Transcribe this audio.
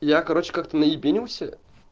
я короче как-то наебенился